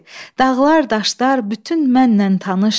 Dağlar, daşlar bütün mənnən tanışdı.